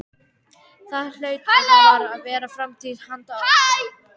Það hlaut og varð að vera framtíð handa okkur.